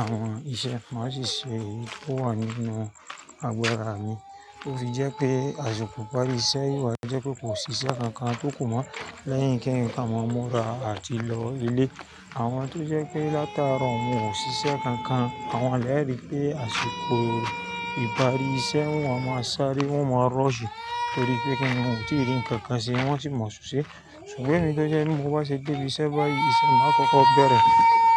àwọn iṣẹ́ máa ṣiṣẹ́ tó wá nínú àgbèrè mi. Torí jẹ́ pé àsìkò ìparí iṣẹ́ yóò jẹ́ pé kó ṣiṣẹ́ kankan tó ku mọ́ lẹ́yìn kí ń ká mọ́ra àti lọ ilé. Àwọn tó jẹ́ pé láti àárọ̀ wọn ò ṣiṣẹ́ kankan, àwọn lè rí pé àsìkò ìparí iṣẹ́ wọn máa ń sáré, wọn máa ń rush, torí pé kíni wọ́n ò tí rí ǹkan kan ṣe wọ́n sì máa ṣoṣẹ. Ṣùgbọ́n èmi tó jẹ́ ẹni tí mo bá ṣe de ibi iṣẹ́ báyìí, ìṣẹ́ máa kọ́kọ́ bẹ̀rẹ̀.